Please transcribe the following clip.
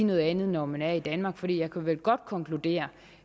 noget andet når hun er i danmark for jeg kan vel godt konkludere